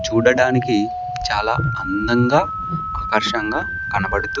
చూడడానికి చాలా అందంగా ఆకర్షంగా కనబడుతు--